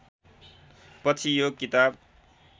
पछि यो किताब